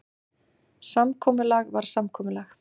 Samkomulag var samkomulag.